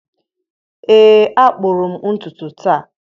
ee a kpụrụ m ntutu taa.